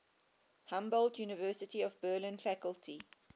humboldt university of berlin faculty